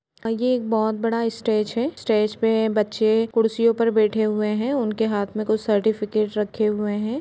अ ये एक बहोत बड़ा स्टेज है। स्टेज पर बच्चें कुड़सियों पर बैठे हुए हैं। उनके हाथ में कुछ सर्टिफिकेट रखे हुए हैं।